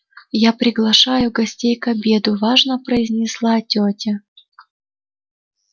я приглашаю гостей к обеду важно произнесла тётя